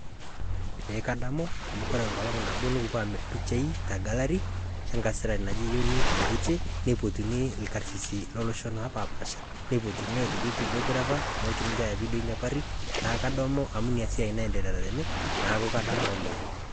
ee kadamu amu koree nikipuo amirr mpishai te gallery enkasirani naji eunice waite neipotuni ilkarsisi lolosho opasha neitoki videographer neponu aya vidio kadamu inasiai amu ninye nagira aiendeleata tene